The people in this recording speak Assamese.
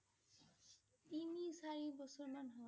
তিনি চাৰি বছৰ মান হ'ল।